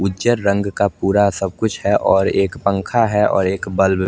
उचेर रंग का पूरा सब कुछ है और एक पंखा है और एक बल्ब ल--